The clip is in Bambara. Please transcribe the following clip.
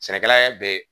Sɛnɛkɛla ye bɛɛ ye